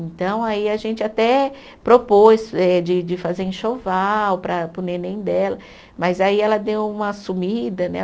Então aí a gente até propôs eh de de fazer enxoval para para o neném dela, mas aí ela deu uma sumida, né?